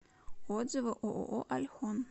отзывы ооо альхон